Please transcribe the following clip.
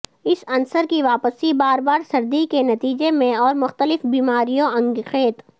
اس عنصر کی واپسی بار بار سردی کے نتیجے میں اور مختلف بیماریوں انگیخت